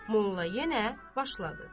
Molla yenə başladı.